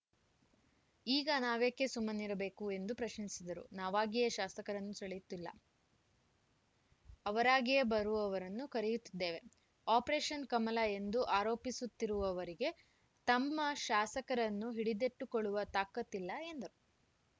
ಈಗ ನಾವೇಕೆ ಸುಮ್ಮನಿರಬೇಕು ಎಂದು ಪ್ರಶ್ನಿಸಿದರು ನಾವಾಗಿಯೇ ಶಾಸಕರನ್ನು ಸೆಳೆಯುತ್ತಿಲ್ಲ ಅವರಾಗಿಯೇ ಬರುವವರನ್ನು ಕರೆಯುತ್ತಿದ್ದೇವೆ ಆಪರೇಷನ್‌ ಕಮಲ ಎಂದು ಆರೋಪಿಸುತ್ತಿರುವವರಿಗೆ ತಮ್ಮ ಶಾಸಕರನ್ನು ಹಿಡಿದಿಟ್ಟುಕೊಳ್ಳುವ ತಾಕತ್ತಿಲ್ಲ ಎಂದರು